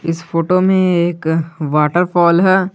इस फोटो में एक वॉटर फॉल है।